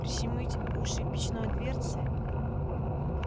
прищемить уши печной дверцей